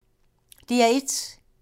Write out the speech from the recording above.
DR1